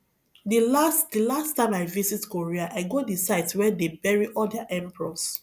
the last the last time i visit korea i go the site where dey bury all their emperors